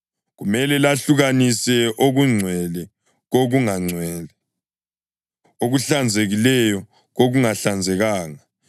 Kumele lahlukanise okungcwele kokungangcwele, okuhlanzekileyo kokungahlanzekanga,